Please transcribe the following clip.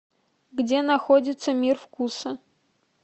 где находится мир вкуса